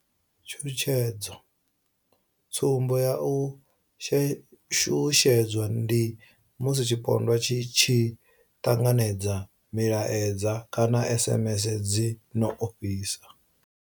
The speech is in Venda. Tshutshedzo tsumbo ya u shushedzwa ndi musi tshipondwa tshi tshi ṱanganedza milaedza kana SMS dzi no ofhisa.